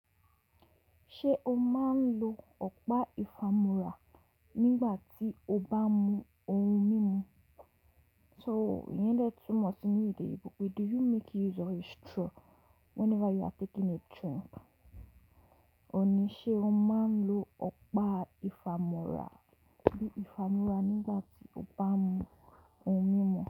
Ṣé o máa ń lo ọ̀pá ìfàmúrà nígbà tí o bá mú ohun mímu? So iyẹ́n lè túmọ̀ sí ní èdè Eyinbo pé Do you make use of a straw whenever you are taking a drink? Òní ṣe o máa ń lo ọ̀pá ìfàmúrà bí ìfàmúrà nígbà tí o bá mú ohun mímu.